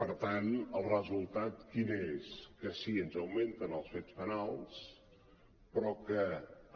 per tant el resultat quin és que sí ens augmenten els fets penals però que